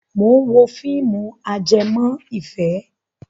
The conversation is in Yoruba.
Mò ń wo fíìmù ajẹmọ́ ìfẹ́